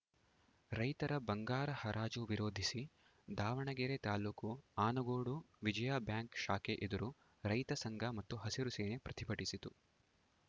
ರೈತರ ಬಂಗಾರ ಹರಾಜು ವಿರೋಧಿಸಿ ದಾವಣಗೆರೆ ತಾಲೂಕು ಆನಗೋಡು ವಿಜಯಾ ಬ್ಯಾಂಕ್‌ ಶಾಖೆ ಎದುರು ರೈತ ಸಂಘ ಮತ್ತು ಹಸಿರು ಸೇನೆ ಪ್ರತಿಭಟಿಸಿತು